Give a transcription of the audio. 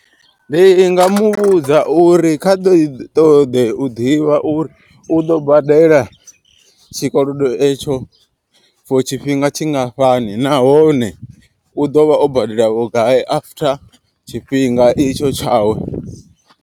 Ndi nga muvhudza uri kha ḓo i ṱoḓe u ḓivha uri u ḓo badela tshikolodo etsho for tshifhinga tshingafhani. Nahone u ḓovha o badela vhugai after tshifhinga itsho tshawe.